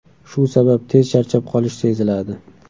Shu sabab tez charchab qolish seziladi.